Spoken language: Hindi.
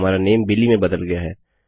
हमारा नाम बिली में बदल गया है